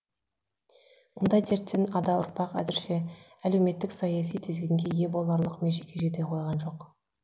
мұндай дерттен ада ұрпақ әзірше әлеуметтік саяси тізгінге ие боларлық межеге жете қойған жоқ